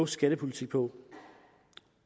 skattepolitik på